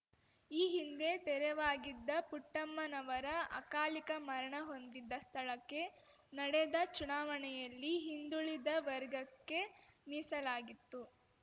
ಈ ಹಿಂದೆ ತೆರೆವಾಗಿದ್ದ ಪುಟ್ಟಮ್ಮನವರು ಅಕಾಲಿಕ ಮರಣ ಹೊಂದಿದ್ದ ಸ್ಥಳಕ್ಕೆ ನಡೆದ ಚುನಾವಣೆಯಲ್ಲಿ ಹಿಂದುಳಿದ ವರ್ಗಕ್ಕೆ ಮೀಸಲಾಗಿತ್ತು